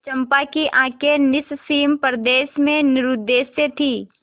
चंपा की आँखें निस्सीम प्रदेश में निरुद्देश्य थीं